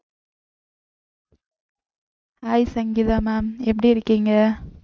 hi Sangeetha ma'am எப்படி இருக்கீங்க